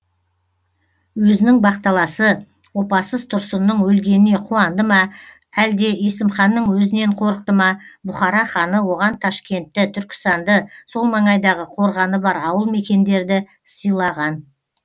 өзінің бақталасы опасыз тұрсынның өлгеніне қуанды ма өлде есімханның өзінен қорықты ма бұхара ханы оған ташкентті түркістанды сол маңайдағы қорғаны бар ауыл мекендерді сыйлаған